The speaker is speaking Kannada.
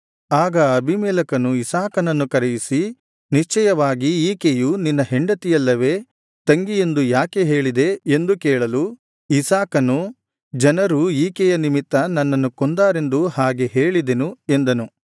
ಆಗ ಅಬೀಮೆಲೆಕನು ಇಸಾಕನನ್ನು ಕರೆಯಿಸಿ ನಿಶ್ಚಯವಾಗಿ ಈಕೆಯ ನಿನ್ನ ಹೆಂಡತಿಯಲ್ಲವೇ ತಂಗಿ ಎಂದು ಯಾಕೆ ಹೇಳಿದೆ ಎಂದು ಕೇಳಲು ಇಸಾಕನು ಜನರು ಈಕೆಯ ನಿಮಿತ್ತ ನನ್ನನ್ನು ಕೊಂದಾರೆಂದು ಹಾಗೆ ಹೇಳಿದೆನು ಎಂದನು